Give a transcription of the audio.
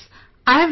I have learned